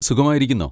സുഖമായിരിക്കുന്നോ?